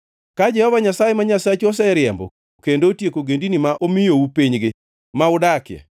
Ka Jehova Nyasaye ma Nyasachu oseriembo kendo otieko ogendini ma omiyou pinygi ma udakie,